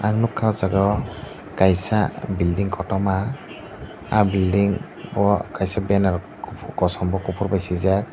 nugkha aw jaaga o kaisa building kotorma aw building o kaisa banner o kosom bo kufur bai swijak.